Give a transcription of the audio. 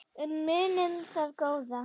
En munum það góða.